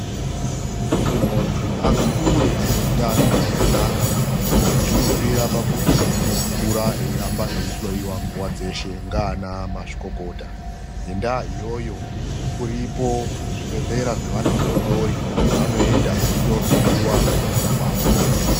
Kuti muntu akure ane hutano hwakanaka, zvinobvira pakuti unokura eiramba eihloyiwa nguva dzose ngavana mazvikokota. Ngendaa iyoyo zviriko zvibhedhlera zvevana vadodori, kwavanoenda veindohloiwa mukukura kwavo.